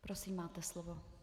Prosím, máte slovo.